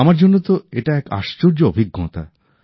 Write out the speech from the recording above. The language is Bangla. আমার জন্য তো এটা এক আশ্চর্য অভিজ্ঞতা